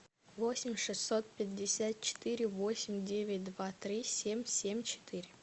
восемь шестьсот пятьдесят четыре восемь девять два три семь семь четыре